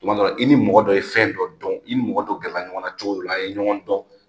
Tuma dɔw i ni mɔgɔ dɔ ye fɛn dɔ dɔn i ni mɔgɔ dɔ gɛrɛla ɲɔgɔn na cogow la a ye ɲɔgɔn dɔn